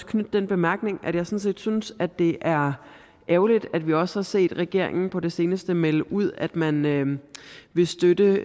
knytte den bemærkning at jeg sådan set synes at det er ærgerligt at vi også har set regeringen på det seneste melde ud at man vil støtte